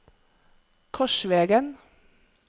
Korsvegen